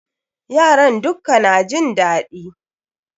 Yaran dukka na jin daɗi